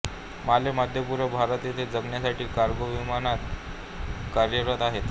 माले मध्यपूर्व भारत येथे जाण्यासाठी कार्गो विमाने कार्यरत आहेत